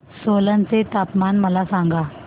सोलन चे तापमान मला सांगा